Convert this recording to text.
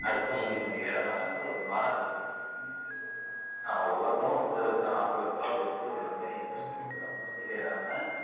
அடுத்தவுங்க வண்டில அவங்க ஏற மாட்டாங்க ஒரு மானப்பிரச்சனை அஹ் ஒவ்வொருத்தனும் முப்பது லட்ச ரூபா நாற்பது லட்ச ரூபாய் போட்டு ஒரு வண்டி வாங்கி வெச்சருக்கும் அவுங்க வண்டில ஏறாமா